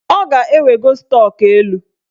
Ọ ga-ewego stọk elu